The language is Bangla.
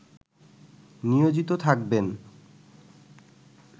নিয়োজিত থাকবেন